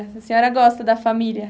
A senhora gosta da família?